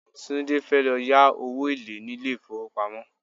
Tunde fẹ́ lọ yá owó èlé ní ilé ìfowópamọ́.